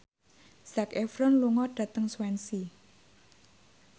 Zac Efron lunga dhateng Swansea